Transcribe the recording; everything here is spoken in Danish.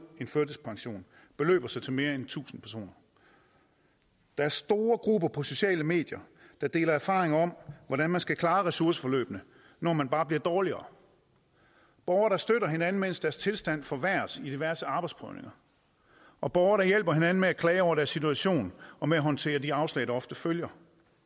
en førtidspension beløber sig til mere end tusind personer der er store grupper på de sociale medier der deler erfaringer om hvordan man skal klare ressourceforløbet når man bare bliver dårligere borgere der støtter hinanden mens deres tilstand forværres i diverse arbejdsprøvninger og borgere der hjælper hinanden med at klage over deres situation og med at håndtere de afslag der ofte følger